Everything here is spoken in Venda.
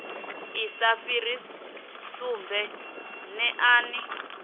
i sa fhiri sumbe neani